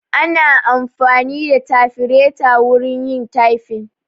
Ana amfani da tafireta wurin yin tyfin